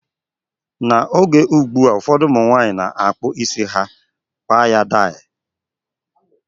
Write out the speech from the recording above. N'oge ụgbụa, ụfọdụ ụmụnwanyị na-akpụ isi ha ala, gbaa ya dai